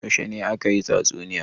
Yaushe ne aka yi tatsuniyar?